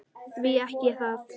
Því ekki það.